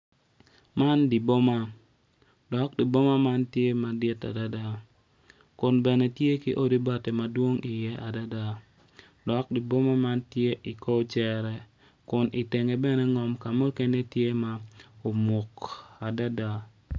Winyo man tye ka tuk kun winyo man opito tyene aryo odwoko angec winyo man oyaro bome kun tye ka tuk dogwinyo man tye ma yelo.